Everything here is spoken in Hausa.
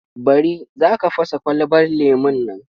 Bari! Za ka fasa kwalabar lemon nan.